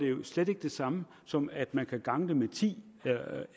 jo slet ikke det samme som at man kan gange det med ti